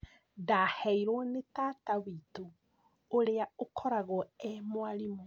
Ndaheirwo nĩ tata witũ ũrĩa ũkoragwo e mwarimũ